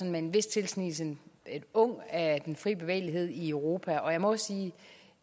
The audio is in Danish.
med en vis tilsnigelse en ung af den fri bevægelighed i europa og jeg må sige